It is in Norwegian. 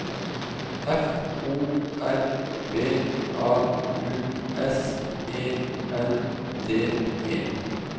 F O R B A U S E N D E